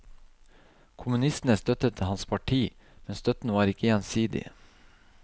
Kommunistene støttet hans parti, men støtten var ikke gjensidig.